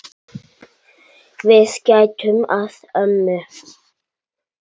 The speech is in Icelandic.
Við gætum að ömmu.